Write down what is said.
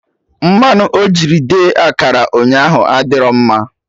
Mmanụ ojiri the akara ụnyaahụ adịro mma